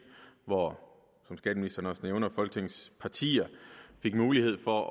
hvor som skatteministeren også nævner folketingets partier fik mulighed for